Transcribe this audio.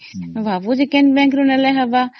କୋଉ bank ଭଲ ସେଟା ଦେଖୁଛି